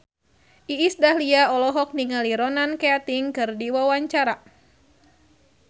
Iis Dahlia olohok ningali Ronan Keating keur diwawancara